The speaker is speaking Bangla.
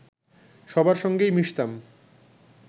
সবার সঙ্গেই মিশতাম